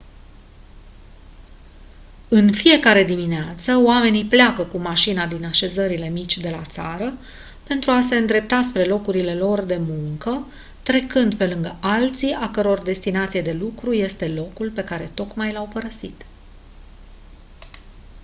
în fiecare dimineață oamenii pleacă cu mașina din așezările mici de la țară pentru a se îndrepta spre locurile lor de muncă trecând pe lângă alții a căror destinație de lucru este locul pe care tocmai l-au părăsit